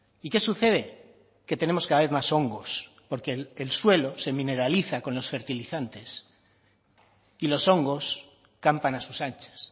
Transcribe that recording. y qué sucede que tenemos cada vez más hongos porque el suelo se mineraliza con los fertilizantes y los hongos campan a sus anchas